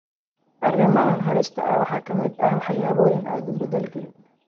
Arrimahan halista ah waxaa ka mid ah waxyaabo aadan bedeli karin.